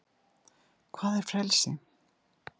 hvað er frelsi